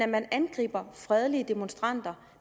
man angriber fredelige demonstranter